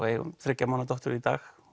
eigum þriggja mánaða dóttur í dag